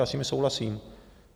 Já s nimi souhlasím.